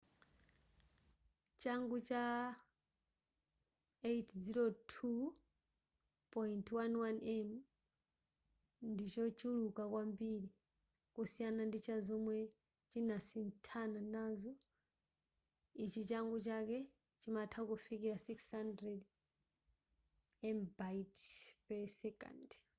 changu cha 802.11n ndichochuluka kwambiri kusiyana ndi chazomwe chinasinthana nazo ichi changu chake chimatha kufikira 600mbit/s